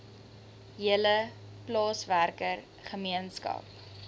hele plaaswerker gemeenskap